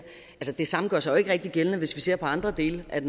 det samme gør sig jo ikke rigtig gældende hvis vi ser på andre dele af